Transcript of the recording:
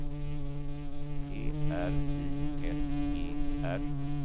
P R I S E R